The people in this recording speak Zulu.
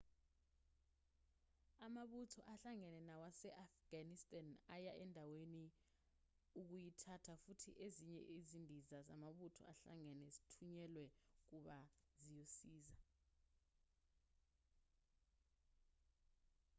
amabutho ahlangene nawase-afghanistan aya endaweni ukuyithatha futhi ezinye izindiza zamabutho ahlangene zithunyelwe kuba ziyosiza